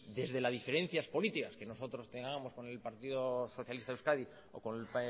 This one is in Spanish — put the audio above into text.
desde las diferencias políticas que nosotros tengamos con el partido socialista de euskadi o con el